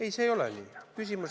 Ei, see ei ole nii.